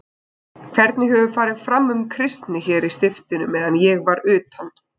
Hvernig hefur farið fram um kristni hér í stiftinu meðan ég var utan?